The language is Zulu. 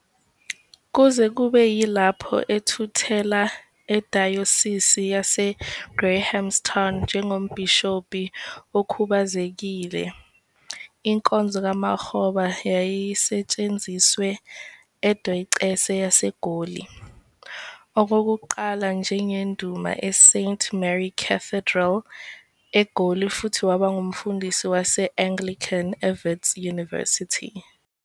Kuze kube yilapho ethuthela eDayosisi yaseGrahamstown njengombhishobhi okhubazekile, inkonzo kaMakgoba yayisetshenziswe eDiocese yaseGoli, okokuqala njengenduna eSt Mary's Cathedral, eGoli futhi waba ngumfundisi wase-Anglican eWits University.